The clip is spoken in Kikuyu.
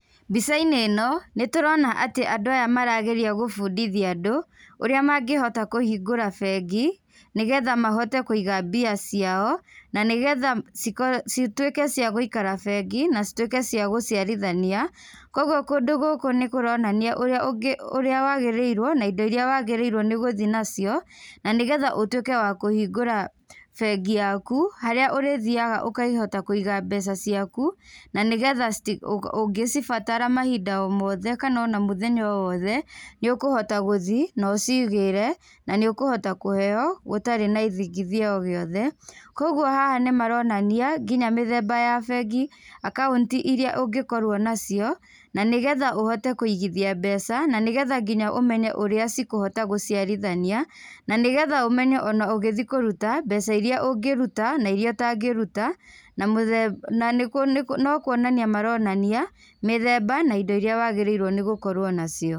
Mbica-inĩ ĩno nĩ tũrona atĩ andũ aya marageria gũbundithia andũ, ũrĩa mangĩhota kũhingũra bengi nĩgetha mahote kũiga mbia ciao, na nĩgetha cituĩke cia gũikara bengi na cituĩke cia gũciarithania. Koguo kũndũ gũkũ nĩ kũronania ũrĩa wagĩrĩrwo, na indo irĩa wagĩrĩirwo nĩ gũthiĩ nacio na nĩgetha ũtuĩke wa kũhingũra bengi yaku, harĩa ũrĩthiaga ũkahota kũiga mbeca ciaku, na nĩgetha ũngĩcibatara mahinda-inĩ o mothe kana ona mũthenya o wothe, nĩ ũkũhota gũthiĩ na ũcigĩre, na nĩ ũkũhota kũheo gũtarĩ na ithigithia o gĩothe. Koguo haha nĩ maronania nginya mĩthemba ya bengi, akaunti irĩa ũngĩkorwo nacio na nĩgetha ũhote kũigithia mbeca, na nĩgetha nginya ũmenye ũrĩa cikũhota gũciarithania, na nĩgetha ũmenye ona ũgĩthiĩ kũrũta mbeca irĩa ũngĩruta na irĩa ũtangĩruta. No kwonania maronania mĩthemba na indo irĩa wagĩrĩirũo nĩ gũkorũo nacio.